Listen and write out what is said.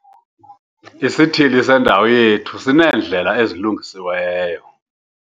Isithili sendawo yethu sineendlela ezilungisiweyo.